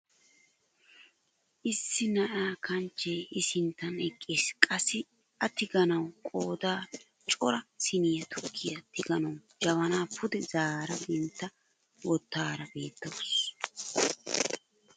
Issi na'aa kanchchee i sinttan eqqis, qassi a tiganawu qoodan cora siiniyaan tukkiyaa tiganawu jabanaa pude zaara dentta wottidaara beettawus.